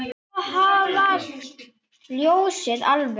Svo hvarf ljósið alveg.